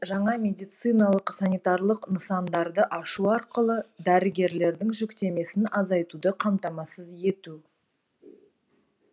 жаңа медициналық санитарлық нысандарды ашу арқылы дәрігерлердің жүктемесін азайтуды қамтамасыз ету